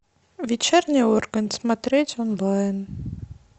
вечерний ургант смотреть онлайн